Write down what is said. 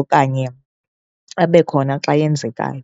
okanye abe khona xa yenzekayo.